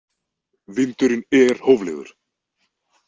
Vindurinn er hóflegur!